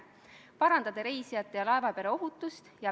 Palun võtta seisukoht ja hääletada!